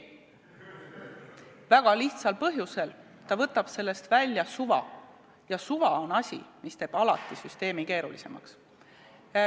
Väga lihtsal põhjusel: ta võtab sellest välja suva ja suva on asi, mis teeb süsteemi alati keerulisemaks.